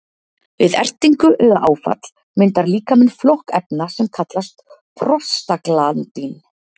Við ertingu eða áfall myndar líkaminn flokk efna sem kallast prostaglandín.